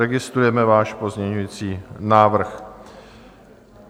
Registrujeme váš pozměňující návrh.